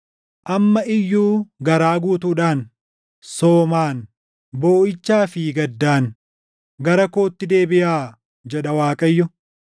“Amma iyyuu garaa guutuudhaan, soomaan, booʼichaa fi gaddaan gara kootti deebiʼaa” jedha Waaqayyo.